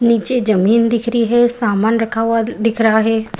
नीचे जमीन दिख रही है सामान रखा हुआ दिख रहा है।